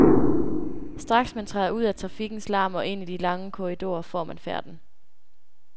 Straks man træder ud af trafikkens larm og ind i de lange korridorer, får man færten.